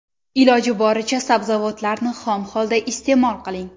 Iloji boricha sabzavotlarni xom holda iste’mol qiling.